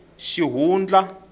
xihundla